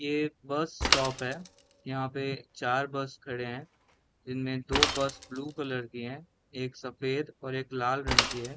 ये bus stop है यहाँ पे चार बस खड़े है जिनमे दो बस ब्लू कलर की है एक सफ़ेद और एक लाल रंग की है।